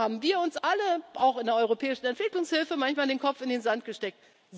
dabei. Da haben wir und alle, auch in der europäischen Entwicklungshilfe, manchmal den Kopf in den Sand gesteckt.